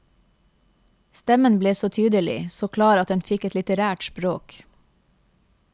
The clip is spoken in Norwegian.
Stemmen ble så tydelig, så klar at den fikk et litterært språk.